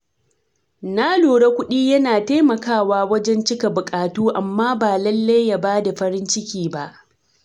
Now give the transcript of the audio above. Na lura kuɗi yana taimakawa wajen cika buƙatu amma ba lallai ya bada farin ciki ba.